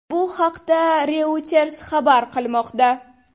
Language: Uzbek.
Bu haqda Reuters xabar qilmoqda .